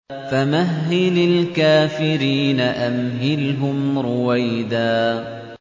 فَمَهِّلِ الْكَافِرِينَ أَمْهِلْهُمْ رُوَيْدًا